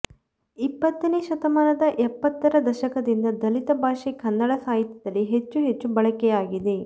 ಇಪ್ಪತ್ತನೇ ಶತಮಾನದ ಎಪ್ಪತ್ತರ ದಶಕದಿಂದ ದಲಿತ ಭಾಷೆ ಕನ್ನಡ ಸಾಹಿತ್ಯದಲ್ಲಿ ಹೆಚ್ಚು ಹೆಚ್ಚು ಬಳಕೆಯಾಗಿದೆ